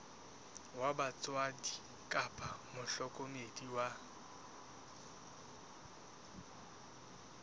wa batswadi kapa mohlokomedi wa